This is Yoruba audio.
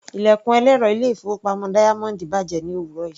Ilẹ̀kùn ẹlẹ́rọ ilé-ìfowópamọ́ Diamond bàjẹ́ ní òwúrọ̀ yìí.